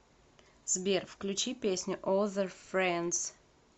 сбер включи песню озер френдс